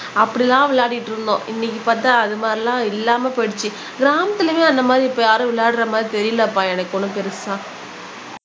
அப்படிலாம் விளையாடிட்டு இருந்தோம் இன்னைக்கு பார்த்தால் அது மாதிரிலாம் இல்லாம போயிடுச்சு கிராமத்துலயுமே அந்த மாதிரி இப்ப யாரும் விளையாடுற மாதிரி தெரியலைப்பா எனக்கு ஒன்னும் பெருசா